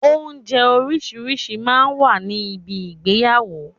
Oúnjẹ orísìírísìí máa ń wà ní bi ìgbéyàwó.